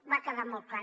va quedar molt clar